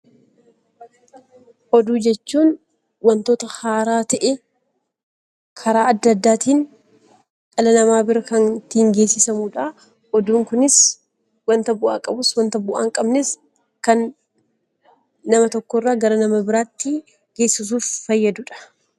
Oduu jechuun waantota haaraa ta'ee, karaa addaa addaatiin dhala namaa bira kan ittiin geessisanidha. Oduun kunis waanta bu'aa qabus, waanta bu'aa hin qabnes kan nama tokko irraa gara nama biraatti geessisuuf fayyadudha.